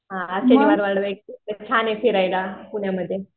हा छान आहे फिरायला पुण्यामध्ये.